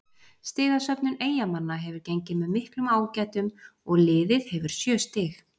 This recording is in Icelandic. Stigasöfnun Eyjamanna hefur gengið með miklum ágætum og liðið hefur sjö stig.